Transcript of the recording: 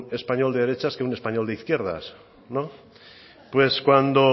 español de derechas que a un español de izquierdas no pues cuando